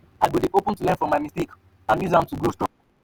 i go dey open to learn from my mistakes and use am to grow stronger.